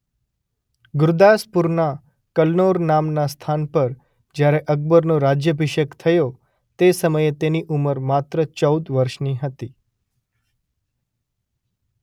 ગુરદાસપુરના કલનૌર નામનાં સ્થાન પર જ્યારે અકબરનો રાજ્યાભિષેક થયો તે સમયે તેની ઉંમર માત્ર ચૌદ વર્ષની હતી.